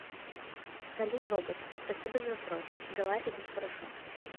салют робот спасибо за вопрос дела идут хорошо